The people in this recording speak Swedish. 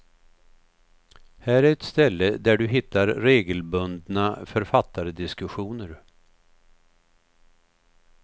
Här är ett ställe där du hittar regelbundna författardiskussioner.